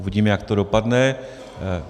Uvidím, jak to dopadne.